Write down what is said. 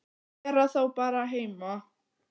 Vera þá bara heima?